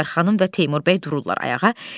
Zivər xanım və Teymur bəy dururlar ayağa.